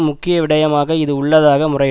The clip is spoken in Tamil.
முக்கியவிடயமாக இது உள்ளதாக முறையிட்